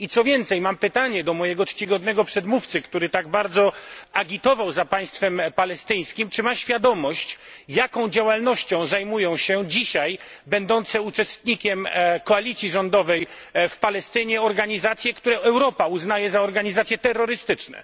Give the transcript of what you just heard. Co więcej, mam pytanie do mojego czcigodnego przedmówcy, który tak bardzo agitował za państwem palestyńskim, czy ma świadomość, jaką działalnością zajmują się dzisiaj będące uczestnikami koalicji rządowej w Palestynie organizacje, które Europa uznaje za organizacje terrorystyczne?